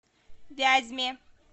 вязьме